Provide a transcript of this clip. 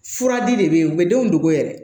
Fura di de bɛ yen u bɛ denw dogo yɛrɛ